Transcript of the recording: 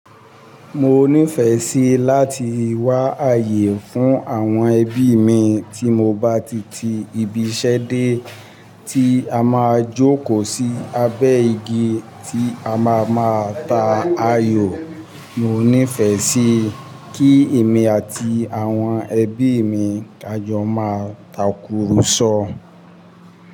Mo nífẹ̀ẹ́ sí láti wá ààyè fún àwọn ẹbí mi tí mo bá ti ti ibiṣẹ́ dé tí a máa jókòó sí abẹ́ igi tí a máa máa ta ayò. Mo nífẹ̀ẹ́ sí kí èmi àti àwọn ẹbí mi kájọ máa takùrọ̀sọ.